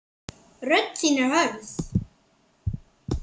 Rödd þín er hörð.